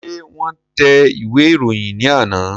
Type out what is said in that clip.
Ṣé wọ́n tẹ ìwé ìròyìn ní àná?